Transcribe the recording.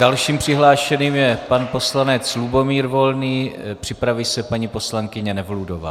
Dalším přihlášeným je pan poslanec Lubomír Volný, připraví se paní poslankyně Nevludová.